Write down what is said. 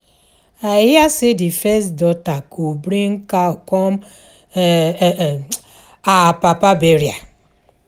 I hear say the first daughter go bring cow come um her papa burial